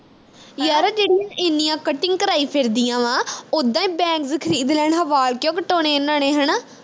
ਯਾਰ ਜਿਹੜੀਆਂ ਇੰਨੀਆਂ cutting ਕਰਾਈ ਫਿਰਦੀਆਂ ਵਾਂ ਉੱਦਾਂ ਈ bangs ਖਰੀਦ ਲੈਣ ਵਾ ਵਾਲ ਕਿਉਂ ਕਟਾਉਣੇ ਇਨ੍ਹਾਂ ਨੇ ਹਣਾ